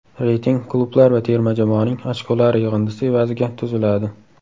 Reyting klublar va terma jamoaning ochkolari yig‘indisi evaziga tuziladi.